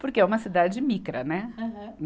Porque é uma cidade micra, né? Aham